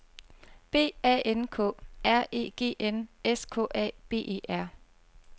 B A N K R E G N S K A B E R